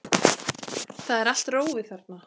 Það er allt rófið þarna.